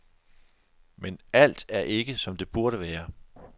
Men alt er ikke, som det burde være.